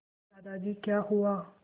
दादाजी क्या हुआ